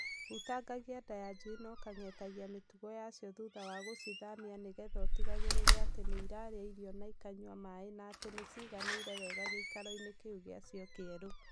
Hutangagia nda ya njui na ũkang'etagia mĩtugo yacio thutha wa gũcithamia nĩgetha ũtigagĩrĩre atĩ nĩ irarĩa irio na ikanyua maaĩ na atĩ nĩciganĩire wega gĩkairo-inĩ kĩu gĩacio kĩerũ.